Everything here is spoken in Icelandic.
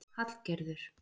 Hallgerður